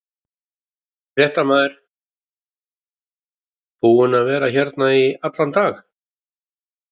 Fréttamaður: Búin að vera hérna í allan dag?